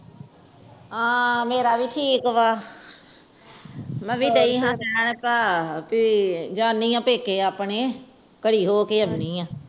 ਹਾਂ ਮੇਰਾ ਵੀ ਠੀਕ ਵ ਮੈਂ ਵੀ ਜਾਣੀ ਆ ਪੇਕੇ ਆਪਣੇ ਘੜੀ ਰਹਿ ਕ ਆਉਂਦੇ ਆ